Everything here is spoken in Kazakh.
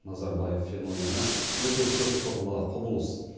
назарбаев феномені өте көп қырлы құбылыс